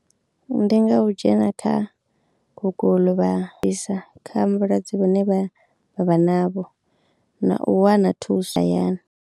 Ndi nga u dzhena kha guguḽu vha bvisa kha vhulwadze vhu ne vha vha vha navho na u wana thuso hayani.